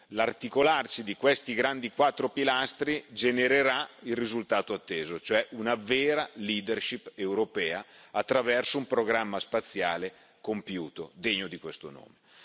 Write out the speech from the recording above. L'articolarsi di questi quattro grandi pilastri genererà il risultato atteso, cioè una vera leadership europea attraverso un programma spaziale compiuto, degno di questo nome.